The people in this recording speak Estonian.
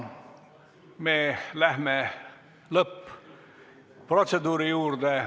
Me läheme lõpp-protseduuri juurde.